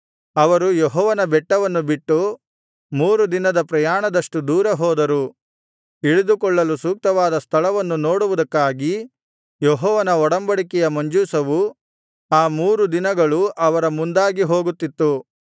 ಅವರು ಯೆಹೋವನ ಬೆಟ್ಟವನ್ನು ಬಿಟ್ಟು ಮೂರು ದಿನದ ಪ್ರಯಾಣದಷ್ಟು ದೂರ ಹೋದರು ಇಳಿದುಕೊಳ್ಳಲು ಸೂಕ್ತವಾದ ಸ್ಥಳವನ್ನು ನೋಡುವುದಕ್ಕಾಗಿ ಯೆಹೋವನ ಒಡಂಬಡಿಕೆಯ ಮಂಜೂಷವು ಆ ಮೂರು ದಿನಗಳು ಅವರ ಮುಂದಾಗಿ ಹೋಗುತ್ತಿತ್ತು